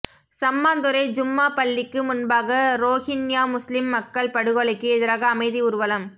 சம்மாந்துறை ஜும்மா பள்ளிக்கு முன்பாக ரோஹின்யா முஸ்லிம் மக்கள் படுகொலைக்கு எதிராக அமைதி ஊர்வலம்